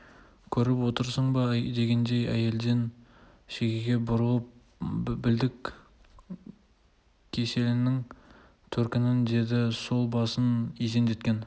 көріп отырсың ба дегендей әлден соң шегеге бұрылып білдік кеселіңнің төркінін деді сол басын изендеткен